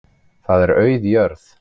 Þar er auð jörð.